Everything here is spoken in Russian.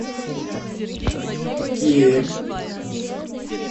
кемь